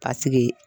Ka sigi